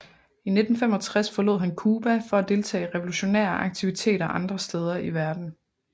I 1965 forlod han Cuba for at deltage i revolutionære aktiviteter andre steder i verden